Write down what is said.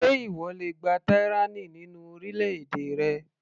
Ṣé ìwọ le gba tyranny nínú orílẹ̀-èdè rẹ.